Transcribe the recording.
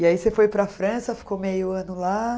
E aí você foi para a França, ficou meio ano lá?